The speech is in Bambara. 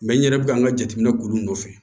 n yɛrɛ bɛ ka n ka jateminɛ k'olu nɔfɛ